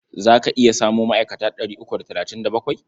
Za ka iya samo ma'aikata ɗari uku da talatin da bakwai?